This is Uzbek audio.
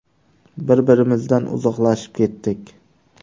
Bir-birimizdan uzoqlashib ketdik.